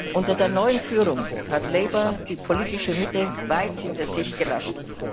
Unter der neuen Führung hat Labour die politische Mitte weit hinter sich gelassen.